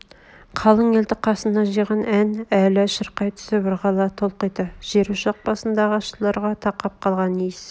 қалың елді қасына жиған ән әлі шырқай түсіп ырғала толқиды жерошақ басындағы асшыларға тақап қалған иіс